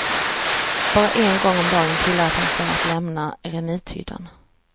Bara en gång om dagen tillät han sig att lämna eremithyddan.